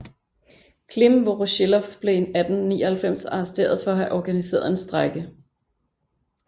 Klim Vorosjilov blev i 1899 arresteret for at have organiseret en strejke